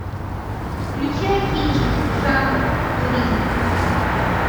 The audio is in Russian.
включай кинчик жанр туризм